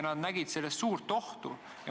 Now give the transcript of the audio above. Nad näevad selles suurt ohtu.